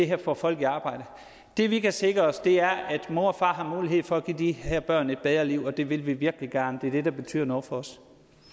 her får folk i arbejde det vi kan sikre os er at mor og far har mulighed for at give de her børn et bedre liv og det vil vi virkelig gerne det er det der betyder noget for os